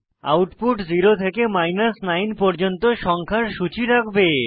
output 0 থেকে 9 পর্যন্ত সংখ্যার সূচী রাখবে